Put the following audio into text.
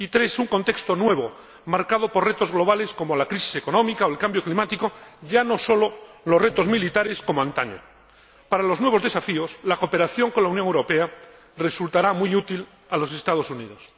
Y la tercera, un contexto nuevo, marcado por retos globales como la crisis económica o el cambio climático, y ya no solo los retos militares, como antaño. Para los nuevos desafíos, la cooperación con la Unión Europea resultará muy útil a los Estados Unidos.